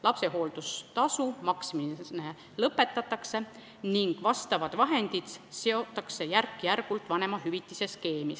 Lapsehooldustasu maksmine lõpetatakse ning need vahendid seotakse järk-järgult vanemahüvitiste skeemi.